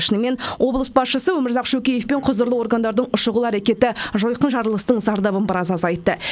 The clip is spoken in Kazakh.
шынымен облыс басшысы өмірзақ шөкеев пен құзырлы органдардың шұғыл әрекеті жойқын жарылыстың зардабын біраз азайтты